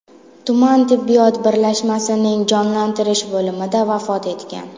tuman tibbiyot birlashmasining jonlantirish bo‘limida vafot etgan.